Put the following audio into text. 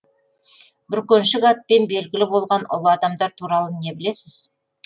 бүркеншік атпен белгілі болған ұлы адамдар туралы не білесіз